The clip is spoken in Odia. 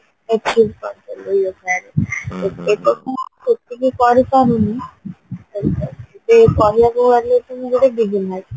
achieve କରିପାରିବା yogaରେ ଏକରେ ତ ମୁଁ ସେତିକି କରିପାରୁନି ଯଦି କହିବାକୁ ଗଲେ ବି